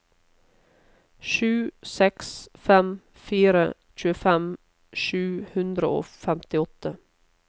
sju seks fem fire tjuefem sju hundre og femtiåtte